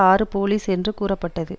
ஆறு போலீஸ் என்று கூறப்பட்டது